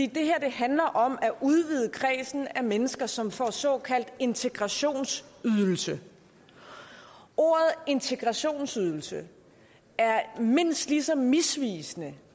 handler om at udvide kredsen af mennesker som får såkaldt integrationsydelse ordet integrationsydelse er mindst lige så misvisende